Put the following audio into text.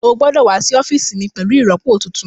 Ó gbọ́dọ̀ wá sí ọ́fíìsì mi pẹ̀lú ìrọpo tuntun